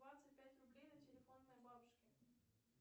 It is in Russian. двадцать пять рублей на телефон моей бабушки